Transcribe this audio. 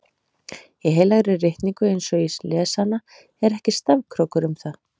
Í heilagri ritningu eins og ég les hana er ekki stafkrókur um það.